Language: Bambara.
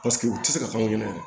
Paseke u tɛ se ka taa n yɛrɛ ye